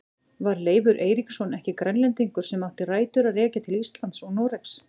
Var Leifur Eiríksson ekki Grænlendingur sem átti rætur að rekja til Íslands og Noregs?